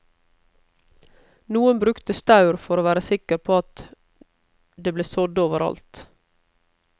Noen brukte staur for å være sikker på at det ble sådd over alt.